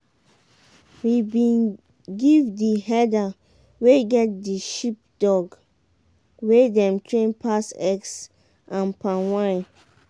we been give the herder wey get the sheepdog wey dem train pass eggs and palm wine.